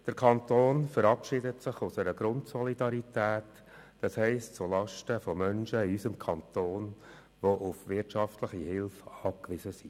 Er verabschiedet sich aus einer Grundsolidarität zulasten von Menschen in unserem Kanton, die auf wirtschaftliche Hilfe angewiesen sind.